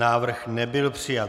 Návrh nebyl přijat.